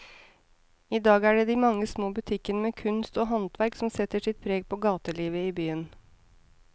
I dag er det de mange små butikkene med kunst og håndverk som setter sitt preg på gatelivet i byen.